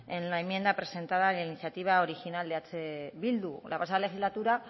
en la enmienda presentada en la iniciativa original de eh bildu la pasada legislatura